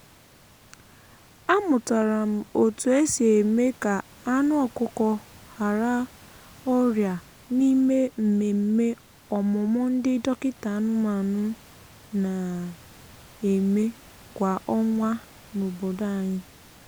amụtara m otu esi eme ka anụ ọkụkọ ghara ọrịa n’ime mmemme ọmụmụ ndị dọkịta anụmanụ na-eme kwa ọnwa n’obodo anyị